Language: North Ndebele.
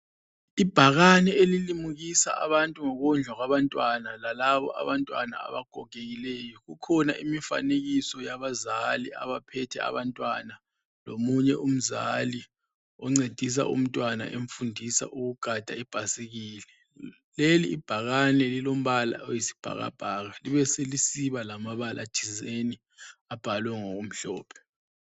Ibhakane elilimukisa abantu ngokondlwa kwabantwana lalabo abantwana abagogekileyo. Ukhona imfanekiso yabazali abaphethe abantwana lomunye umzali ofundisa umntwana ukugada ibhasikili. Leli ibhakane lilombala oyisibhakabhaka libe selisiba lamabala thizeni abhalwe ngokumhlophe.